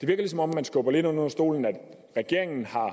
lidt som om man skubber det lidt ind under stolen at regeringen har